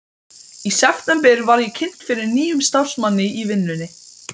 Í september var ég kynnt fyrir nýjum starfsmanni í vinnunni.